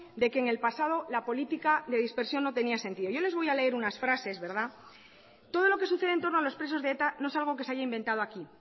de que en el pasado la política de dispersión no tenía sentido yo les voy a leer unas frases todo lo que sucede en torno a los presos de eta no es algo que se haya inventado aquí